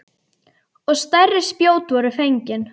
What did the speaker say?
Og stærri spjót voru fengin.